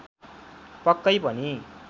पक्कै पनि